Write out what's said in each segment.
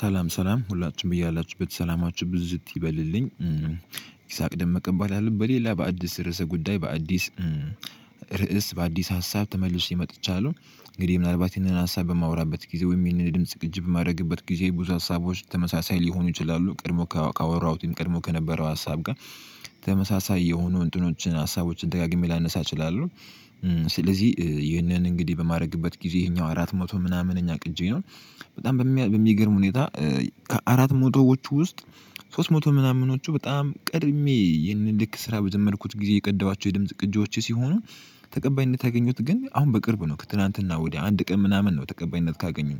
ሰላም ሰላም ሁላችሁም በያላችሁበት ሰላማችሁ ብዝት ይበልልኝ ይስሐቅ ደመቀ እባላለሁ በሌላ በአዲስ ርዕሰ ጉዳይ በአዲስ በአዲስ ሀሳብ ተመልሼ መጥቻለሁ። እንግዲህ ምናልባት ይሄንን ሀሳብ በማወራበት ጊዜ ወይም ይህንን ድምጽ ቅጂ የማደርግበት ጊዜ ብዙ ሀሳቦች ተመሳሳይ ሊሆኑ ይችላሉ ቀድሞ ካወራሁትም ቀድሞ ከነበረው ሀሳብ ጋር ተመሳሳይ የሆኑ እንትኖችን ሀሳቦችን ደጋግሜ ላነሳ እችላለሁ። ስለዚህ ይህንን እንግዲህ በማድረግበት ጊዜ ይሄኛው አራት መቶ ምናምንኛ ቅጂ ነው። በጣም በሚገርም ሁኔታ ከአራት መቶዎች ውስጥ ሶስት መቶ ምናምኖቹ በጣም ቀድሜ ይህንን ልክ ስራ በጀመድኩት ጊዜ የቀዳኋቸው የድምጽ ቅጂዎች ሲሆኑ። ተቀባይነት ያገኙት ግን አሁን በቅርብ ነው ከትላንትና ወዲያ አንድ ቀን ምናምን ነው ተቀባይነት ካገኙ።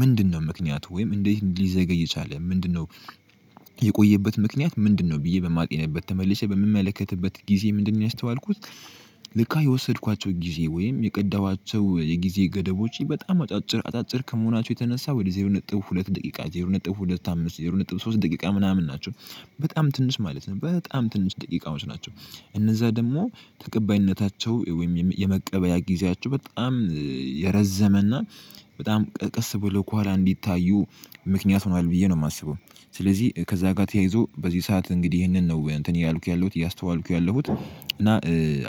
ምንድነው ምክንያቱ ወይም እንዴት ሊዘገይ የቻለ ምንድነው? የቆየበት ምክንያት ምንድነው ብዬ በማግኘት ተመልሼ በምመለከትበት ጊዜ ምንድነው ያስተዋልኩት? ለካ የወሰድኳቸው ጊዜ ወይም የቀዳኋቸው የጊዜ ገደቦቼ በጣም አጫጭር አጫጭር ከመሆናቸው የተነሳ ወደ ዜሮ ነጥብ ሁለት ደቂቃ ዜሮ ነጥብ ሁለት አምስት ዜሮ ነጥብ ሶስት ደቂቃ ምናምን ናቸው። በጣም ትንሽ ማለት ነው በጣም ትንሽ ደቂቃዎች ናቸው። እነዛ ደግሞ ተቀባይነታቸው ወይም የመቀበያ ጊዜያቸው በጣም የረዘመና በጣም ቀስ ብሎ ከኋላ እንዲታዩ ምክንያት ሆኗል ብዬ ነው የማስበው። ስለዚህ ከዛ ጋር ተያይዞ በዚህ ሰዓት እንግዲህ ይሄንን ነው እንትን እያልኩ ያለሁት ያስተዋልኩት ያለሁት እና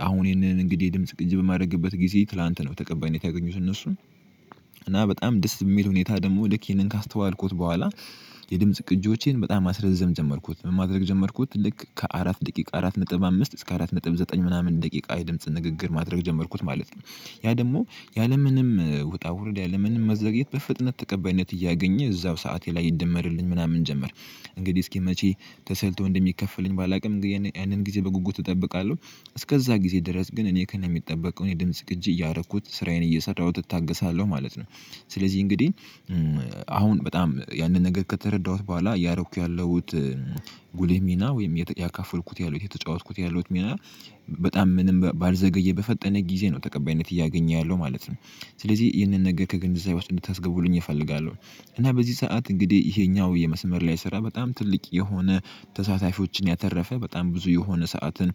አሁን ይሄንን እንግዲህ ድምጽ ቅጂ በማደረግበት ጊዜ ትላንት ነው ተቀባይነት ያገኙት እነሱም እና በጣም ደስ የሚል ሁኔታ ደግሞ ልክ ይሄንን ካስተዋልኩት በኋላ። የድምጽ ቅጂዎቼን በጣም ማስረዘም ጀመርኩት ምን ማድረግ ጀመርኩት ልክ ከአራት ደቂቃ አራት ነጥብ አምስት እስከ አራት ነጥብ ዘጠኝ ምናምን ደቂቃ የድምጽ ንግግር ማድረግ ጀመርኩት ማለት ነው። ያ ደግሞ ያለምንም ውጣ ውርድ ያለምንም መዘግየት በፍጥነት ተቀባይነት እያገኘ እዛው ሰዓቴ ላይ ይደመርልኝ ምናምን ጀመር። እንግዲህ እስኪ መቼ ተሰልቶ እንደሚከፈለኝ ባላውቅም ያንን ጊዜ በጉጉት እጠብቃለሁ። እስከዛ ጊዜ ድረስ ግን እኔ ከነሚጠበቀው የድምጽ ቅጂ እያረኩት ስራዬን እየሰራሁት እታገሳለሁ ማለት ነው። ስለዚህ እንግዲህ አሁን በጣም ያንን ነገር ከተረዳሁት በኋላ እያረኩት ያለሁት ጉልህ ሚና ወይም ያካፈልኩት ያሉት የተጫወትኩት ያለሁት ሚና በጣም ምንም ባልዘገየ በፈጠነ ጊዜ ነው ተቀባይነት እያገኘ ያለው ማለት ነው። ስለዚህ ይህንን ነገር ከገንዛቤ ውስጥ እንድታስገቡልኝ እፈልጋለሁ። እና በዚህ ሰዓት እንግዲህ ይሄኛው የመስመር ላይ ስራ በጣም ትልቅ የሆነ ተሳታፊዎችን ያተረፈ በጣም ብዙ የሆነ ሰዓትን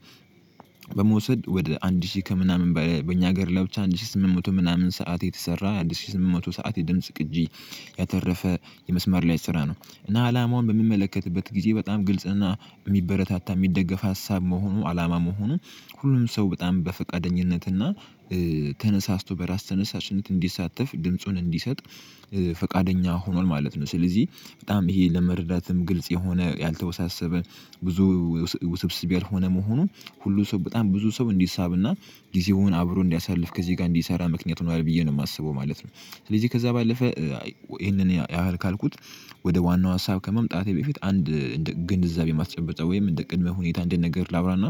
በመውሰድ ወደ አንድ ሺህ ከምናምን በእኛ ሀገር ላይ ብቻ አንድ ሺህ ስምንት መቶ ምናምን ሰዓት የተሰራ አንድ ሺህ ስምንት መቶ ሰዓት የድምጽ ቅጂ። ያተረፈ የመስመር ላይ ስራ ነው እና አላማውን በምመለከትበት ጊዜ በጣም ግልጽና የሚበረታታ የሚደገፍ ሀሳብ መሆኑ አላማ መሆኑን። ሁሉም ሰው በጣም በፈቃደኝነት እና ተነሳስቶ በራስ ተነሳሽነት እንዲሳተፍ ድምጹን እንዲሰጥ ፈቃደኛ ሆኗል ማለት ነው። ስለዚህ በጣም ይሄ ለመረዳትም ግልጽ የሆነ ያልተወሳሰበ ብዙ ውስብስብ ያልሆነ መሆኑን ሁሉ ሰው በጣም ብዙ ሰው እንዲሳብና ጊዜውን አብሮ እንዲያሳልፍ ከዚህ ጋር እንዲሰራ ምክንያት ሆኗል ብዬ ነው የማስበው ማለት ነው። ስለዚህ ከዛ ባለፈ ይሄንን ያህል ካልኩት ወደ ዋናው ሀሳብ ከመምጣቴ በፊት አንድ ግንዛቤ ማስጨበጫ ወይም እንደ ቅድመ ሁኔታ እንደ ነገር ላዉራና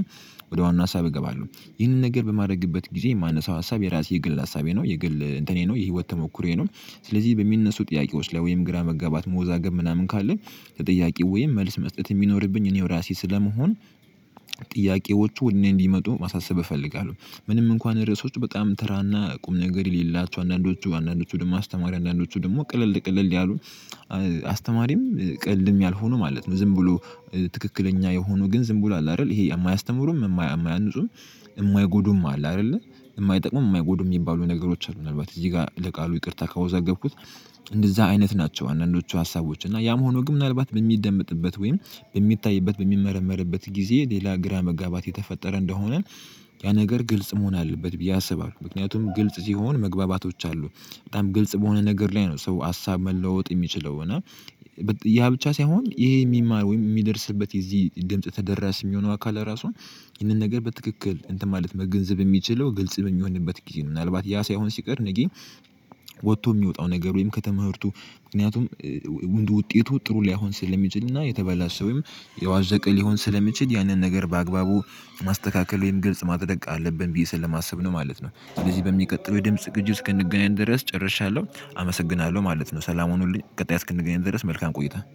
ወደ ዋና ሀሳብ እገባለሁ። ይህንን ነገር በማድረግበት ጊዜ የማነሳው ሀሳብ የራሴ የግል ሀሳቤ ነው የግል እንትኔ ነው የህይወት ተሞክሮዬ ነው። ስለዚህ በሚነሱ ጥያቄዎች ላይ ወይም ግራ መጋባት መወዛገብ ምናምን ካለ ለጥያቄው ወይም መልስ መስጠት የሚኖርብኝ እኔው ራሴ ስለመሆን ጥያቄዎቹ ወደ እኔ እንዲመጡ ማሳሰብ እፈልጋለሁ። ምንም እንኳን ርዕሶች በጣም ተራና ቁም ነገር የሌላቸው አንዳንዶቹ አንዳንዶቹ ደግሞ አስተማሪ አንዳንዶቹ ደግሞ ቅልል ያሉ አስተማሪም ቅላልም ያልሆኑ ማለት ነው። ዝም ብሎ ትክክለኛ የሆኑ ግን ዝም ብሎ አለ አይደል ይሄ የማያስተምሩም የማያንፁም። የማይጎዱም አለ አይደለ የማይጠቅሙም የማይጎዱም የሚባሉ ነገሮች አሉ። ምናልባት እዚህ ጋር ለቃሉ ይቅርታ ካወዛገብኩት። እንደዛ አይነት ናቸው አንዳንዶቹ ሀሳቦች እና ያም ሆኖ ግን ምናልባት በሚደመጥበት ወይም በሚታይበት በሚመረመርበት ጊዜ ሌላ ግራ መጋባት የተፈጠረ እንደሆነ ያ ነገር ግልጽ መሆን አለበት ብዬ አስባለሁ። ምክንያቱም ግልጽ ሲሆን መግባባቶች አሉ። በጣም ግልጽ በሆነ ነገር ላይ ነው ሰው ሀሳብ መለወጥ የሚችለው እና። ያ ብቻ ሳይሆን ይሄ የሚማር ወይም የሚደርስበት የዚህ ድምጽ ተደራሽ የሚሆነው አካል አራሱ። ይህንን ነገር በትክክል እንትን ማለት መገንዘብ የሚችለው ግልጽ በሚሆንበት ጊዜ ነው። ምናልባት ያ ሳይሆን ሲቀር ነገ። ወቶ የሚወጣው ነገር ወይም ከትምህርቱ ምክንያቱም ውጤቱ ጥሩ ላይሆን ስለሚችልና የተበላሸ ወይም የዋዤቀ ሊሆን ስለሚችል ያንን ነገር በአግባቡ ማስተካከል ወይም ግልጽ ማድረግ አለብን ብዬ ስለማስብ ነው ማለት ነው። ስለዚህ በሚቀጥለው የድምጽ ቅጁው እስክንገናኝ ድረስ ጨርሻለሁ አመሰግናለሁ ማለት ነው። ሰላም ሁኑልኝ ቀጣይ እስክንገናኝ ድረስ መልካም ቆይታ